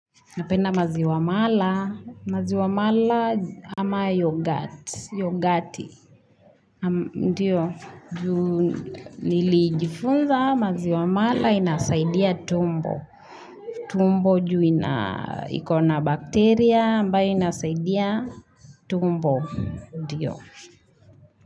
Napenda maziwa mala, maziwa mala ama yogurt, yogati, ndio, nilijifunza maziwa mala inasaidia tumbo, tumbo juu ina, iko na bakteria ambayo inasaidia tumbo, ndio.